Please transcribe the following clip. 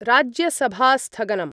राज्यसभास्थगनम्